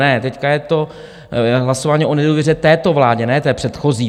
Ne, teď je to hlasování o nedůvěře této vládě, ne té předchozí.